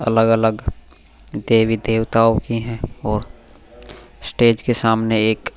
अलग-अलग देवी देवताओं की हैं और स्टेज के सामने एक --